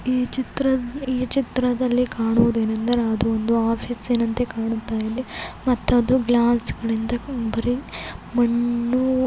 ಈ ಚಿತ್ರ ಈ ಚಿತ್ರದಲ್ಲಿ ಕಾಣುವುದೇನೆಂದರೆ ಅದು ಒಂದು ಆಫೀಸ್ ಅಂತೆ ಕಾಣುತ್ತಾಯಿದೆ ಮತ್ತು ಅದು ಗ್ಲಾಸ್ ಗಳಿಂದ ಬರಿ ಮಣ್ಣು.--